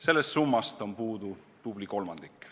Sellest summast on puudu tubli kolmandik.